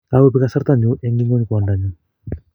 Kakobek kasarta nyu eng ngony kwondonyuu.